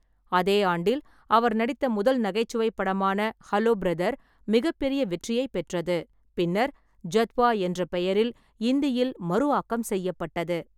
அதே ஆண்டில், அவர் நடித்த முதல் நகைச்சுவைப் படமான ஹலோ பிரதர் மிகப்பெரிய வெற்றியைப் பெற்றது. பின்னர், ஜத்வா என்ற பெயரில் இந்தியில் மறு ஆக்கம் செய்யப்பட்டது.